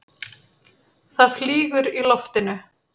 Það flýgur í loftinu.